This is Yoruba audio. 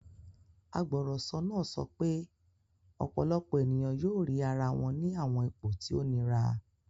Agbọrọsọ naa sọ pe ọpọlọpọ eniyan yoo rii ara wọn ni awọn ipo ti o nira